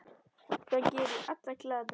Það gerir alla glaða.